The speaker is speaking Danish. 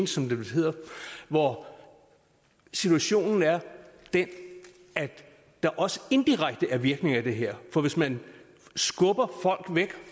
som det vel hedder hvor situationen er den at der også indirekte er virkninger af det her for hvis man skubber folk væk